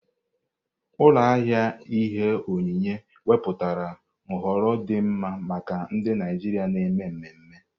Ụlọ ahịa ihe onyinye ewepụtala nhọrọ dị mma maka ndị Naijiria na-eme mmemme.